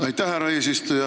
Aitäh, härra eesistuja!